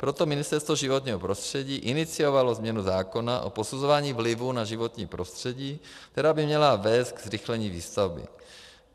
Proto Ministerstvo životního prostředí iniciovalo změnu zákona o posuzování vlivů na životní prostředí, která by měla vést ke zrychlení výstavby.